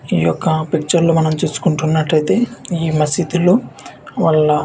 యొక్క పిచ్చోళ్ళు మనం చూసుకుంటున్నట్లయితే ఈ మసీదులు వల్ల--